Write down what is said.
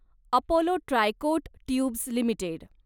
Apollo Tricoat tubes limited